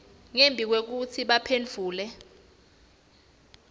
ngembi kwekutsi baphendvule